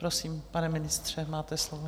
prosím, pane ministře, máte slovo.